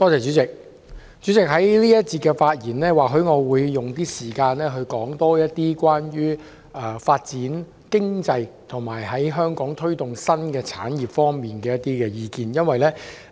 主席，在這一個環節，我會用少許時間多討論有關發展經濟，以及在香港推動新產業方面的一些意見。